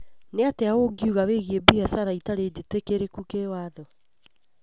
Nĩ atĩa ũngiuga wĩgiĩ biacara itarĩ njĩtĩkĩrĩku kĩwatho?